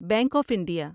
bank of India